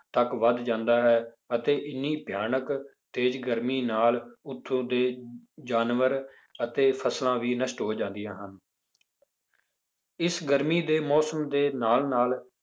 ਤੱਕ ਵੱਧ ਜਾਂਦਾ ਹੈ, ਅਤੇ ਇੰਨੀ ਭਿਆਨਕ ਤੇਜ਼ ਗਰਮੀ ਨਾਲ ਉੱਥੋਂ ਦੇ ਜਾਨਵਰ ਅਤੇ ਫਸਲਾਂ ਵੀ ਨਸ਼ਟ ਹੋ ਜਾਂਦੀਆਂ ਹਨ ਇਸ ਗਰਮੀ ਦੇ ਮੌਸਮ ਦੇ ਨਾਲ ਨਾਲ